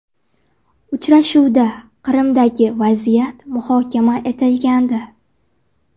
Uchrashuvda Qrimdagi vaziyat muhokama etilgandi.